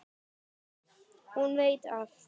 Hún veit allt.